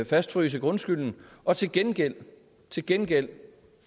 fastfryse grundskylden og til gengæld til gengæld